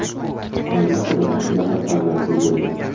Oila qurib, ikki nafar farzandli bo‘ldim.